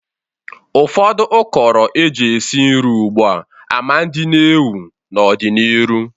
Ụfọdụ ụkọrọ e ji esi nri ugbu a ma ndị n'ewu n'ọ dị n'iru.